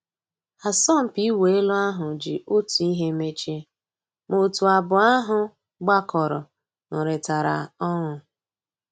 Àsọ̀mpị́ ị̀wụ́ èlú àhú́ jì Ótú ị́hé mèchíé, má ótú àbụ́ọ́ àhú́ gbàkọ́rọ́ nụ́rị́tàrá ọnụ́.